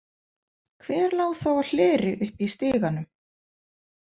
Hver lá þá á hleri uppi í stiganum?